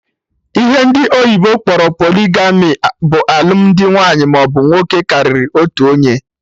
Ihe ndị oyibo kpọrọ polygamy bụ alụmdi nwaanyị maọbụ nwoke karịrị otu onye